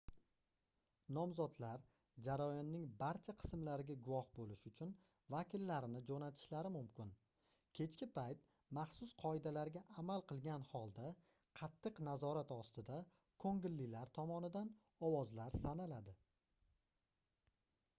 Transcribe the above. nomzodlar jarayonning barcha qismlariga guvoh boʻlish uchun vakillarini joʻnatishlari mumkin kechki payt maxsus qoidalarga amal qilgan holda qattiq nazorat ostida koʻngillilar tomonidan ovozlar sanaladi